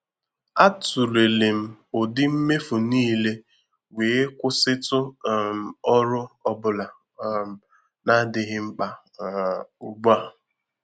A tụlere m ụdị mmefu niile wee kwụsịtụ um ọrụ ọ bụla um na-adịghị mkpa um ugbu a.